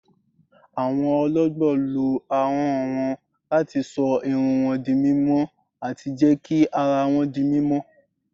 Awọn ọ̀lọ̀gbọ̀ ló áhọn wọn láti ṣọ̀ ìrùn wọn dí mímọ̀ ati jẹ́ kí àrà wọn dí mímọ̀.